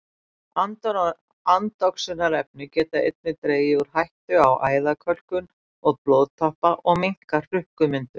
Andoxunarefni geta einnig dregið úr hættu á æðakölkun og blóðtappa og minnkað hrukkumyndun.